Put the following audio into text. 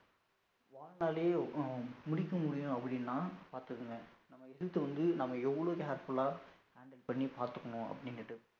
முடிக்க முடியும் அப்படினா பாத்துக்கோங்க நம்ம எதிர்த்து வந்து நம்ம எவளோ careful ஆ handle பண்ணி பாத்துகனும் அப்படின்டு